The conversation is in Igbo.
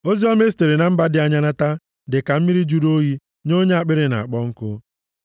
Oziọma e sitere na mba dị anya nata dị ka mmiri jụrụ oyi nye onye akpịrị na-akpọ nkụ.